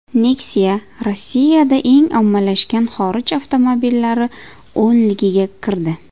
Nexia Rossiyada eng ommalashgan xorij avtomobillari o‘nligiga kirdi.